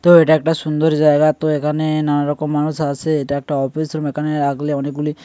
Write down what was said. তো এটা একটা সুন্দর জায়গা তো এখানে নানা রকম মানুষ আসে এটা একটা অফিস রুম এখানে রাখলে অনেকগুলি।